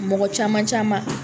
Mɔgɔ caman caman.